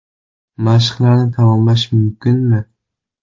Mashqlarni tamomlash mumkinmi?!